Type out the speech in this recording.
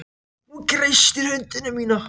Hún kreistir hönd mína.